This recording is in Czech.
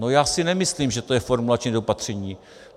No já si nemyslím, že to je formulační nedopatření.